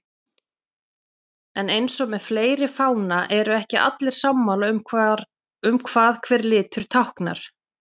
En eins og með fleiri fána eru ekki allir sammála um hvað hver litur táknar.